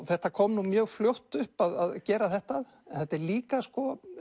þetta kom mjög fljótt upp að gera þetta en þetta líka sko